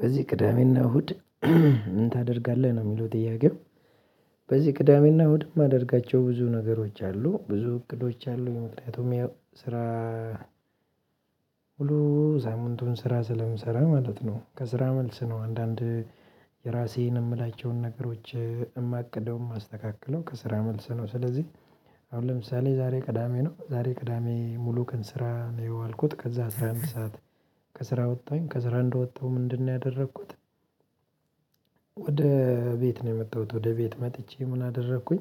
በዚህ ቅዳሜና እሁድ ምን ታደርጋለህ ነው የሚለው ጥያቄው? በዚህ ቅዳሜና እሁድ ማደርጋቸው ብዙ ነገሮች አሉ ብዙ እቅዶች አሉኝ ምክንያቱም ስራ ሳምንቱን ስራ ስለምሰራ ማለት ነው። ከስራ መልስ ነው አንዳንድ የራሴን የምላቸውን ነገሮች የማቅደውም የማስተካክለው ከስራ መልስ ነው። ስለዚህ አሁን ለምሳሌ ዛሬ ቅዳሜ ነው ዛሬ ቅዳሜ ሙሉ ቀን ስራ ነው የዋልኩት ከዛ አስራ አምስት ሰዓት ከስራ ወጣሁኝ ከስራ እንደወጣሁ ምንድ ነው ያደረኩት? ወደ ቤት ነው የመጣሁት ወደ ቤት መጥቼ ምን አደረኩኝ?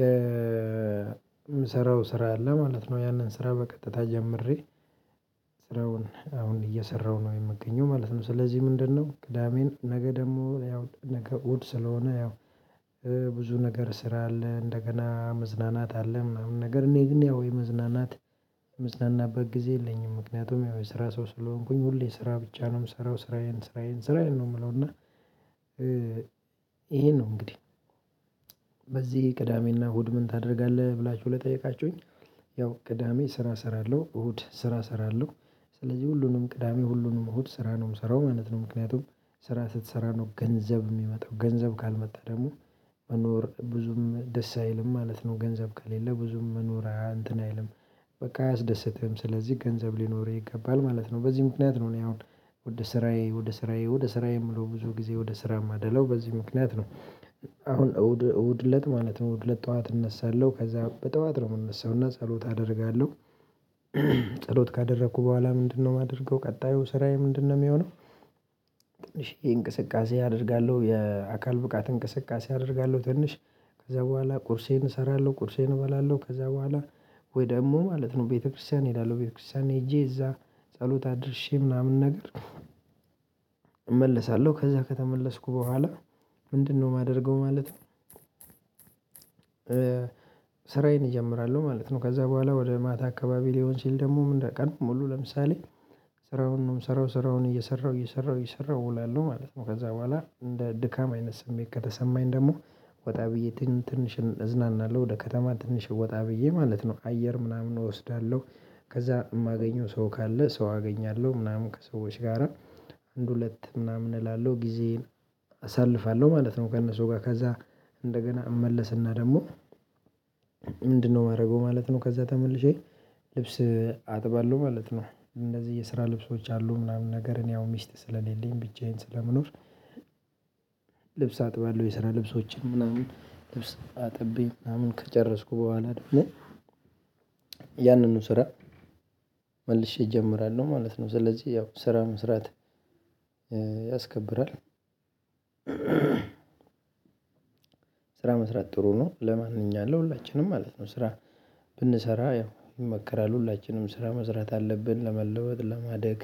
የምሰራው ስራ አለ ማለት ነው ያንን ስራ በቀጥታ ጀምሬ ስራውን አሁን እየሰራሁ ነው የምገኘው ማለት ነው። ስለዚህ ምንድነው? ቅዳሜን ነገ ደግሞ ያው ነገ እውድ ስለሆነ ያው ብዙ ነገር ስራ አለ እንደገና መዝናናት አለ ምናምን ነገር እኔ ግን ያው የመዝናናት የመዝናናበት ጊዜ የለኝም ምክንያቱም ያው የስራ ሰው ስለሆንኩኝ ሁሌ ስራ ብቻ ነው የምሰራው ስራዬን ስራዬን ስራዬን ነው። የምለው እና ይሄን ነው እንግዲህ በዚህ ቅዳሜና እሁድ ምን ታደርጋለህ ብላችሁ ለጠየቃችሁኝ ያው ቅዳሜ ስራ እሰራለሁ እሁድ ስራ እሰራለሁ። ስለዚህ ሁሉንም ቅዳሜ ሁሉንም እሁድ ስራ ነው የምሰራው አይነት ነው ምክንያቱም ስራ ስትሰራ ነው ገንዘብ የሚመጣው ገንዘብ ካልመጣ ደግሞ መኖር ብዙም ደስ አይልም ማለት ነው። ገንዘብ ከሌለ ብዙም መኖር እንት አይልም። በቃ አያስደስተህም ስለዚህ ገንዘብ ሊኖርህ ይገባል ማለት ነው። በዚህ ምክንያት ነው እኔ አሁን ወደ ስራዬ ወደ ስራዬ ወደ ስራዬ የምለው ብዙ ጊዜ ወደ ስራ የማደለው በዚህ ምክንያት ነው። አሁን እሁድ እሁድ እለት ማለት ነው እሁድ ውድለት ጠዋት እነሳለሁ ከዛ በጠዋት ነው የምነሳው እና ጸሎት አደርጋለሁ። ጸሎት ካደረኩ በኋላ ምንድ ነው የማደርገው ቀጣዩ ስራዬ ምንድ ነው የሚሆነው? ትንሽዬ እንቅስቃሴ አደርጋለሁ የአካል ብቃት እንቅስቃሴ አደርጋለሁ ትንሽ ከዛ በኋላ ቁርሴን እሰራለሁ ቁርሴን እበላለሁ ከዛ በኋላ ወይ ደግሞ ማለት ነው ቤተክርስቲያን እሄዳለው ቤተክርስቲያን ሄጄ እዛ ጸሎት አድርሼ ምናምን ነገር። እመለሳለሁ ከዛ ከተመለስኩ በኋላ ምንድ ነው የማደርገው? ማለት ነው ስራዬን እጀምራለሁ ማለት ነው። ከዛ በኋላ ወደ ማታ አካባቢ ሊሆን ሲል ደግሞ አንጀ ቀን ሙሉ ለምሳሌ ስራውን ነው የምሰራው ስራውን እየሰራው እየሰራው እየሰራው እውላለው ማለት ነው። ከዛ በኋላ እንደ ድካም አይነት ስሜት ከተሰማኝ ደግሞ ወጣ ብዬ ትንሽ እዝናናለሁ ወደ ከተማ ትንሽ ወጣ ብዬ ማለት ነው አየር ምናምን እወስዳለሁ ከዛ የማገኘው ሰው ካለ ሰው አገኛለሁ ምናምን ከሰዎች ጋራ አንድ ሁለት ምናምን እላለሁ ጊዜን አሳልፋለሁ ማለት ነው። ከእነሱ ጋር ከዛ እንደገና እመለስና ደግሞ ምንድነው የማደርገው? ማለት ነው ከዛ ተመልሼ ልብስ አጥባለሁ ማለት ነው። እነዚህ የስራ ልብሶች አሉ ምናምን ነገርን ያው እኔ ሚስት ስለሌለኝ ብቻዬን ስለምኖር። ልብስ አጥባለሁ የሰራ ልብሶችን ምናምን ልብስ አጥቤ ምናምን ከጨረስኩ በኋላ ያንን ነው ስራ መልሼ እጀምራለሁ ማለት ነው። ስለዚህ ያው ስራ መስራት ያስከብራል ስራ መስራት ጥሩ ነው። ለማን ለማንኛውም ሁላችንም ማለት ነው ስራ ብንሰራ ይመከራል ሁላችንም ስራ መስራት አለብን ለመለወጥ ለማደግ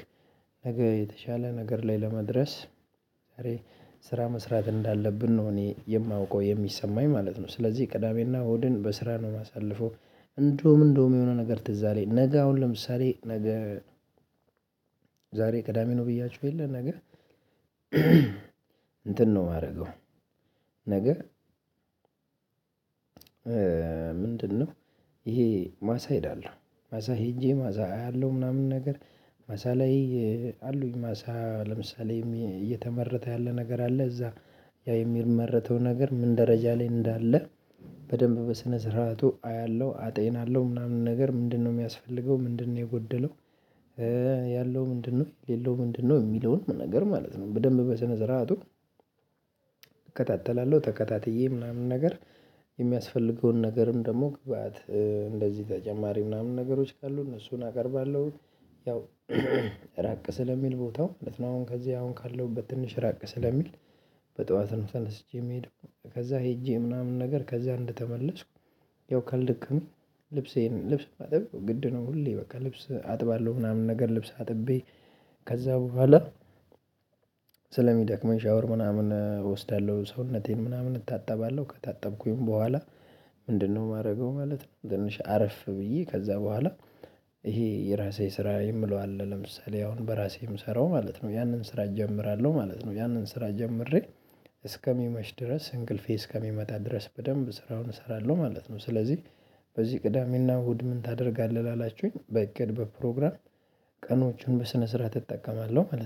ነገ የተሻለ ነገር ላይ ለመድረስ ስራ መስራት እንዳለብን ነው እኔ የማውቀው የሚሰማኝ ማለት ነው። ስለዚህ ቅዳሜና ሆድን በስራ ነው የማሳልፈው። እንደውም እንደውም የሆነ ነገር ትዝ አለኝ ነገ አሁን ለምሳሌ ነገ ዛሬ ቅዳሜ ነው ብያችሁ የለ ነገ እንትን ነው የማደርገው? ነገ ምንድነው? ይሄ ማሳ ሄዳለሁ ማሳ ሄጄ ማሳ አያለሁ ምናምን ነገር ማሳ ላይ አሉኝ ማሳ ለምሳሌ እየተመረተ ያለ ነገር አለ እዛ ያ የሚመረተው ነገር ምን ደረጃ ላይ እንዳለ በደንብ በስነ ስርዓቱ አያለሁ አጤናለሁ ምናምን ነገር ምንድነው የሚያስፈልገው ምንድነው የጎደለው ያለው ምንድነው የሌለው ምንድነው የሚለውን ነገር ማለት ነው። በደንብ በስነ ስርዓቱ እከታተላለሁ ተከታትዬ ምናምን ነገር የሚያስፈልገውን ነገርም ደግሞ ግብአት እንደዚህ ተጨማሪ ምናምን ነገሮች ካሉ እነሱን አቀርባለሁ። ያው ራቅ ስለሚል ቦታው ማለት ነው አሁን ከዚህ አሁን ካለው በትንሽ ራቅ ስለሚል በጠዋት ነው ተነስቼ የምሄደው። ከዛ ሄጄ ምናምን ነገር ከዛ እንደተመለስኩ ያው ካልደከመኝ ልብሴን ልብስ ማጠብ ግድ ነው። ሁሌ በቃ ልብስ አጥባለሁ ምናምን ነገር ልብስ አጥቤ ከዛ በኋላ ስለሚደክመኝ ሻወር ምናምን እወስዳለሁ ሰውነቴን ምናምን እታጠባለሁ ከታጠብኩኝ በኋላ ምንድነው የማደርገው ማለት ነው። ትንሽ አርፍ ብዬ ከዛ በኋላ ይሄ የራሴ ስራ የምለው አለ ለምሳሌ አሁን በራሴ የምሰራው ማለት ነው ያንን ስራ እጀምራለሁ ማለት ነው። ያንን ስራ ጀምሬ እስከሚመሽ ድረስ እንቅልፌ እስከሚመጣ ድረስ በደንብ ስራውን እሰራለሁ ማለት ነው። ስለዚህ በዚህ ቅዳሜና እሁድ ምን ታደርጋለህ ላላችሁኝ በእቅድ በፕሮግራም ቀኖችን በስነ ስርዓት እጠቀማለሁ ማለት ነው